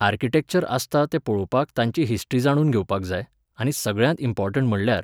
architecture आसता तें पळोवपाक तांची हिस्ट्री जाणून घेवपाक जाय, आनी सगळ्यांत इम्पॉर्टण्ट म्हटल्यार